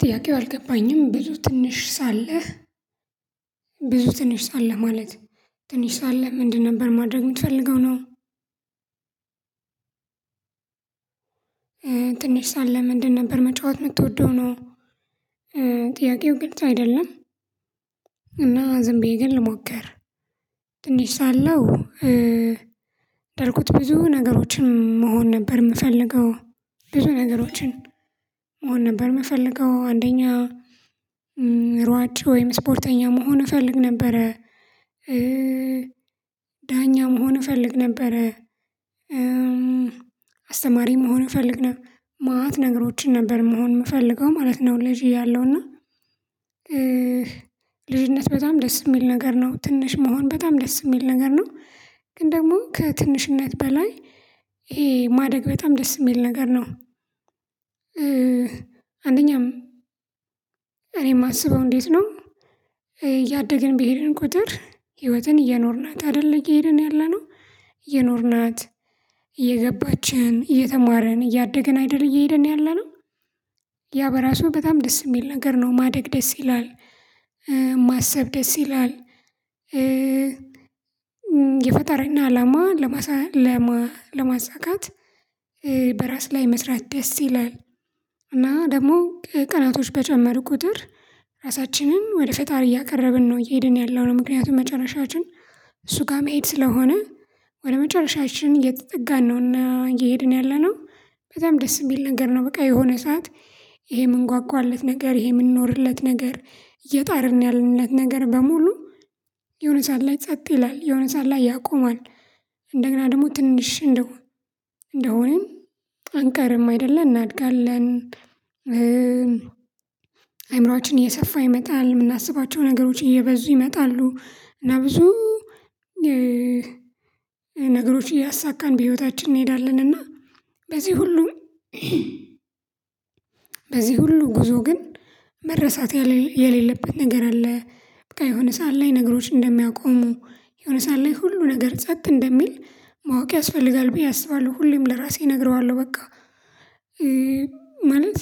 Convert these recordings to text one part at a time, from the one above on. ጥያቄው አልገባኝም ብዙ ትንሽ ሳለህ ብዙ ትንሽ ሳለህ ማለት ትንሽ ሳለህ ምንድነው ነበር ማድረግ የምትፈልገው ነው? ትንሽ ሳለ ምንድን ነበር መጫወት የምትወደው ነው? ጥያቄው ግልጽ አይደለም እና ዝም ብዬ ግን ልሞክር። ትንሽ ሳለሁ በእርግጥ ብዙ ነገሮችን መሆን ነበር የምፈልገው። ብዙ ነገሮችን መሆን ነበር የምፈልገው። አንደኛ ሯጭ ወይም ስፖርተኛ መሆን እፈልግ ነበረ። ዳኛም ሆነ እፈልግ ነበረ። አስተማሪም መሆን እፈልግ ነበር። መአት ነገሮችን ነበር መሆን የምፈልገው ማለት ነው። ልጅ እያለሁና። ልጅነት በጣም ደስ የሚል ነገር ነው። ትንሽ መሆን በጣም ደስ የሚል ነገር ነው። ግን ደግሞ ከትንሽነት በላይ ይሄ ማደግ በጣም ደስ የሚል ነገር ነው። አንደኛም እኔ የማስበው እንዴት ነው? እያደግን ቢሄድን ቁጥር ህይወትን እየኖርናት አይደለ እየሄድን ያለነው እየኖርናት እየገባችን የተማረን እያደገን አይደል እየሄድን ያለነው። ያ በራሱ በጣም ደስ የሚል ነገር ነው ማደግ ደስ ይላል። ማሰብ ደስ ይላል። የፈጠራና አላማ ለማሳካት በራስ ላይ መስራት ደስ ይላል። እና ደግሞ ቀናቶች በጨመረ ቁጥር ራሳችንን ወደ ፈጣሪ እያቀረብን ነው እየሄድን ያለው ነው። ምክንያቱም መጨረሻችን እሱ ጋር መሄድ ስለሆነ ወደ መጨረሻችን እየተጠጋን ነውና እየሄድን ያለነው በጣም ደስ የሚል ነገር ነው። በቃ የሆነ ሰዓት ይሄ የምንጓጓለት ነገር ይሄ የምንኖርለት ነገር የጣርን ያለንለት ነገር በሙሉ የሆነ ሰዓት ላይ ጸጥ ይላል የሆነ ሰዓት ላይ ያቆማል። እንደገና ደግሞ ትንሽ እንደሆን እንደሆነም ጠንቀርም አይደለም እናድጋለን። አይምሮአችን እየሰፋ ይመጣል የምናስባቸው ነገሮች እየበዙ ይመጣሉ። እና ብዙ ነገሮች እያሳካን በህይወታችን እንሄዳለን። እና በዚህ ሁሉም በዚህ ሁሉ ጉዞ ግን መረሳት የሌለበት ነገር አለ። የሆነ ሰዓት ላይ ነገሮች እንደሚያቆሙ የሆነ ሰዓት ላይ ሁሉ ነገር ጸጥ እንደሚል ማወቅ ያስፈልጋል ብዬ አስባለሁ። ሁሌም ለራሴ እነግረዋለሁ በቃ ማለት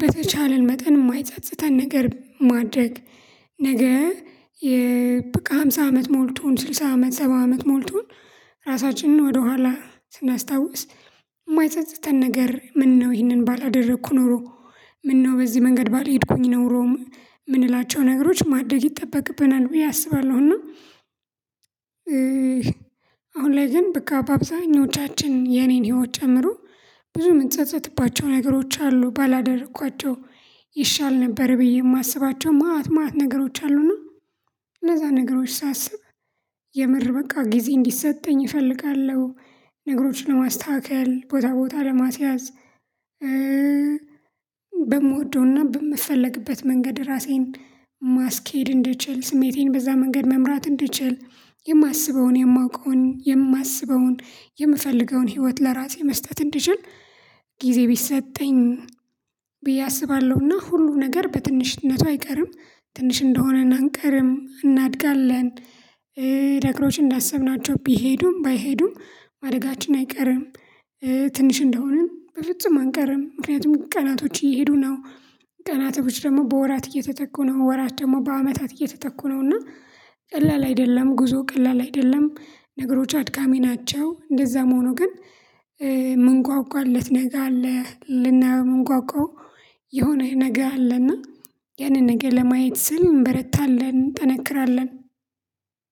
በተቻለን መጠን የማይጸጽተን ነገር ማድረግ። ነገ የበቃ ሃምሳ አመት ሞልቶን ስልሳ አመት ሰባ አመት ሞልቶን ራሳችንን ወደኋላ ስናስታውስ የማይጸጸትን ነገር ምነው ይህንን ባላደረኩ ኖሮ። ምነው በዚህ መንገድ ባልሄድኩኝ ነው ሮም የምንላቸው ነገሮች ማደግ ይጠበቅብናል ብዬ አስባለሁና። አሁን ላይ ግን በቃ በአብዛኞቻችን የኔን ህይወት ጨምሮ ብዙ የምትጸጸትባቸው ነገሮች አሉ ባላደረኳቸው። ይሻል ነበር ብዬ የማስባቸው መአት መአት ነገሮች አሉ ነው። እነዛ ነገሮች ሳስብ የምር በቃ ጊዜ እንዲሰጠኝ እፈልጋለሁ። ነገሮችን ለማስተካከል ቦታ ቦታ ለማስያዝ። በምወደውና በምፈልግበት መንገድ ራሴን ማስኬድ እንድችል ስሜቴን በዛ መንገድ መምራት እንድችል የማስበውን የማውቀውን የማስበውን የምፈልገውን ህይወት ለራሴ መስጠት እንድችል። ጊዜ ቢሰጠኝ ብዬ አስባለሁና ሁሉ ነገር በትንሽነቷ አይቀርም ትንሽ እንደሆነ አንቀርም እናድጋለን። ደግሞች እንዳሰብናቸው ቢሄዱም ባይሄዱም ማደጋችን አይቀርም። ትንሽ እንደሆንን በፍጹም አንቀርም ምክንያቱም ቀናቶች እየሄዱ ነው። ቀናቶች ደግሞ በወራት እየተተኩ ነው ወራት ደግሞ በአመታት እየተተኩ ነው። እና ቀላል አይደለም ጉዞ ቀላል አይደለም ነገሮች አድጋሚ ናቸው። እንደዛ መሆኑ ግን ምን ጓጓለት ነገ አለ ልናየው የምንጓጓው የሆነህ ነገር አለና ያንን ነገር ለማየት ስል እንበረታለን እንጠነክራለን።